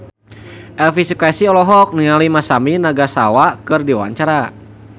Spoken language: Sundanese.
Elvi Sukaesih olohok ningali Masami Nagasawa keur diwawancara